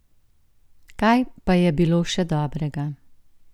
Kaj pa je bilo še dobrega?